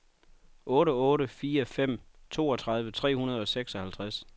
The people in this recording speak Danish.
otte otte fire fem toogtredive tre hundrede og seksoghalvtreds